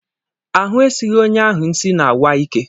Ahụ esighị onye ahụ nsị na-awa ike